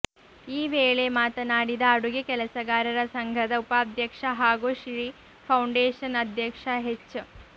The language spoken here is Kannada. ಈ ವೇಳೆ ಮಾತನಾಡಿದ ಅಡುಗೆ ಕೆಲಸಗಾರರ ಸಂಘದ ಉಪಾಧ್ಯಕ್ಷ ಹಾಗೂ ಶ್ರೀಫೌಂಡೇಶನ್ ಅಧ್ಯಕ್ಷ ಹೆಚ್